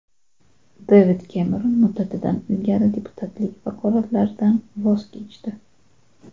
Devid Kemeron muddatidan ilgari deputatlik vakolatlaridan voz kechdi.